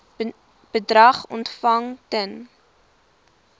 bedrag ontvang ten